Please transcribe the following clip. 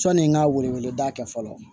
Sɔni n ka wele wele da kɛ fɔlɔ